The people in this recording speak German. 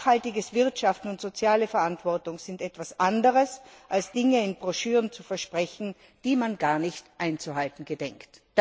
Nachhaltiges Wirtschaften und soziale Verantwortung sind etwas anderes, als Dinge in Broschüren zu versprechen, die man gar nicht einzuhalten gedenkt.